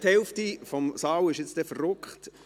Jetzt ist die Hälfte des Saals dann wütend: